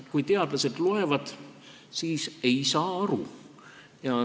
Kui teadlased neid loevad, siis nad ei saa aru.